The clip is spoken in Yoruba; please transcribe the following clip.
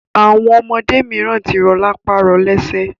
Àwọn ọmọdé mìíràn tí rọ lápá, rọ lẹsẹ.